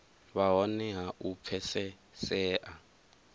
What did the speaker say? vha hone ha u pfesesea